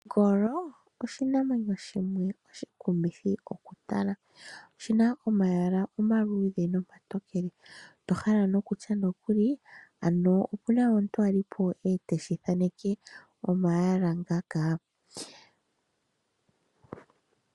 Ongolo oshinamwenyo shimwe oshikumithi mokutala oshina omayala omaluudhe nomatokele to hala nokutya nokuli opwali omuntu ete shi thaneke omayala ngaaka.